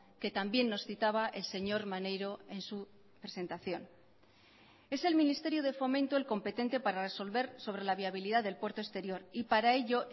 que también nos citaba el señor maneiro en su presentación es el ministerio de fomento el competente para resolver sobre la viabilidad del puerto exterior y para ello